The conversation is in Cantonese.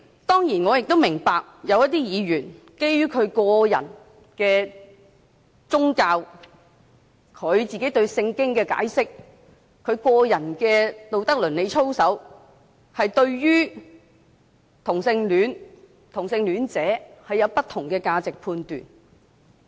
當然，我亦明白有一些議員，基於個人宗教信仰、對《聖經》的解釋或個人的道德倫理操守，而對同性戀及同性戀者有不同的價值判斷。